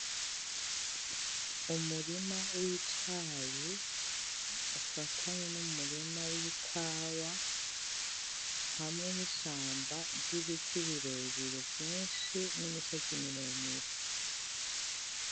Umurima w'icayi ufatanye n'umurima w'ikawa hamwe n'ishamba ry'ibiti birebire vyinshi n'imisozi miremire.